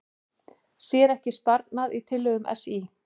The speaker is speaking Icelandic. Sér ekki sparnað í tillögum SÍ